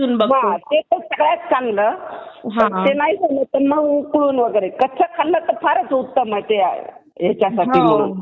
पण ते तर सगळ्यात चांगलं. तसं नाही खाल्लं तर उकळून वगैरे. कच्चं खाल्लं तर फारच उत्तम आहे